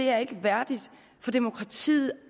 er værdigt for demokratiet at